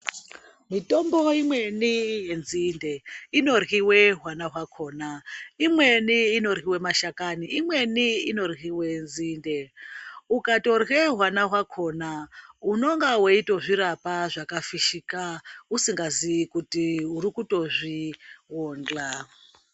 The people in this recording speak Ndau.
Mitombo imweni yenzinde inoryiwe hwana hwakona imweni inoryiwa mashakaani imweni inoryiwe nzinde ukatorye hwana hwakona unenge weitozvirapa zvakafishika musingazivi kuti muri kuto zvibonhla.